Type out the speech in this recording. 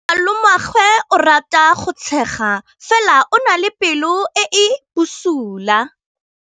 Malomagwe o rata go tshega fela o na le pelo e e bosula.